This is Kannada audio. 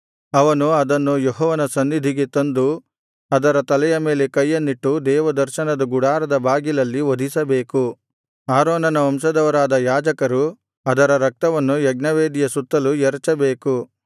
ಅವನು ಅದನ್ನು ಯೆಹೋವನ ಸನ್ನಿಧಿಗೆ ತಂದು ಅದರ ತಲೆಯ ಮೇಲೆ ಕೈಯನ್ನಿಟ್ಟು ದೇವದರ್ಶನದ ಗುಡಾರದ ಬಾಗಿಲಲ್ಲಿ ವಧಿಸಬೇಕು ಆರೋನನ ವಂಶದವರಾದ ಯಾಜಕರು ಅದರ ರಕ್ತವನ್ನು ಯಜ್ಞವೇದಿಯ ಸುತ್ತಲೂ ಎರಚಬೇಕು